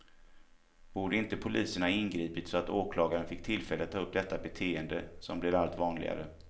Borde inte polisen ha ingripit så att åklagare fick tillfälle att ta upp detta beteende, som blir allt vanligare?